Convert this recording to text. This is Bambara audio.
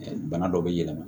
Bana dɔ bɛ yɛlɛma